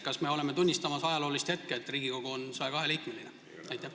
Kas me oleme tunnistamas ajaloolist hetke, kui Riigikogu on 102-liikmeline?